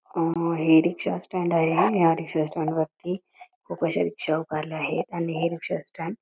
हे rickshaw stand आहे या स्टॅन्डवरती खूप अश्या रिक्षा उभारल्या आहे आणि हे रिक्षा स्टॅन्ड --